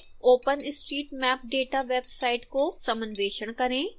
openstreetmap data website को समन्वेषण करें